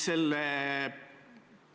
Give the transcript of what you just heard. Nüüd nendest lippudest.